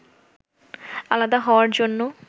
আলাদা হওয়ার জন্য